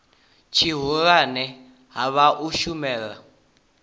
tshihulwane ha vha u shumela